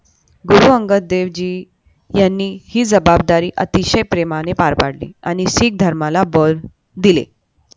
गुरु अंगद देव जी यांनी ही जबाबदारी अतिशय प्रेमाने पार पाडली आणि सिख धर्माला बळ दिले.